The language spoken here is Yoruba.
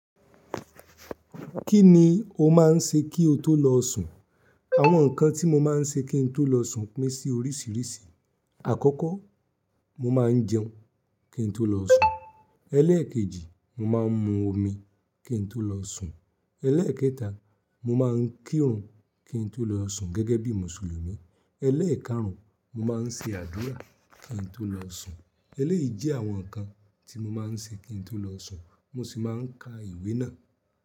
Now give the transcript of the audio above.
Kí ni o máa ń ṣe kí o tó lọ sùn? Àwọn nǹkan tí mo máa ń ṣe kí n tó lọ sùn pín sí oríṣìíríṣìí. Àkọ́kọ́, mo máa ń jẹun kí n tó lọ sùn. Eléèkejì, mo máa ń mu omi kí n tó lọ sùn. Elẹ́ẹ̀kẹta, mo máa ń kírun kí n tó lọ sùn gẹ́gẹ́ bí Mùsùlùmí. Elẹ́ẹ̀kárùn, mo máa ń ṣe àdúrà kí n tó lọ sùn. Eléyìí jẹ́ àwọn nǹkan tí mo máa ń ṣe kí n tó lọ sùn mo sì máa ń ka ìwé náà.